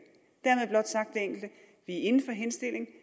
inden for henstillingen